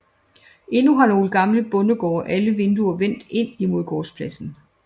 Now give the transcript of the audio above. Endnu har nogle gamle bondegårde alle vinduer vendt ind mod gårdspladsen